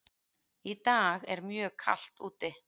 Í dag er mjög kalt úti.